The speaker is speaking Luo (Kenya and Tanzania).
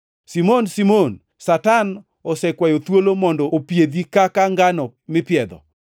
“Simon, Simon, Satan osekwayo thuolo mondo opiedhi kaka ngano mipiedho.